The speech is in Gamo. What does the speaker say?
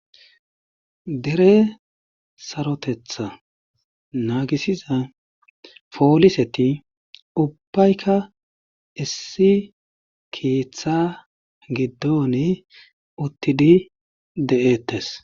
dere sarotetha naagisiza pooliseti ubbaykka issi keththa giddoni uttidi de'ettes